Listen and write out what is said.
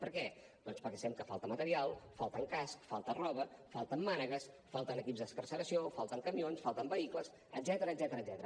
per què doncs perquè sabem que falta material falten cascs falta roba falten mànegues falten equips d’excarceració falten camions falten vehicles etcètera